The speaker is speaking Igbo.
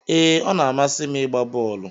Ee, ọ na-amasị m ịgba bọọlụ